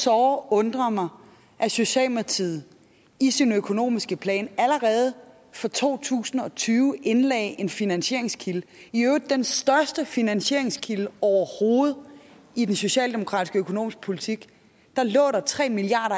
såre undrer mig at socialdemokratiet i sin økonomiske plan allerede for to tusind og tyve indlagde en finansieringskilde i øvrigt den største finansieringskilde overhovedet i den socialdemokratiske økonomiske politik lå der tre milliard